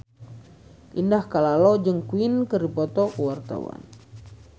Indah Kalalo jeung Queen keur dipoto ku wartawan